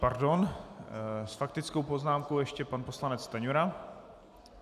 Pardon, s faktickou poznámkou ještě pan poslanec Stanjura.